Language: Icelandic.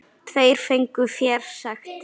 Tveir fengu fésekt.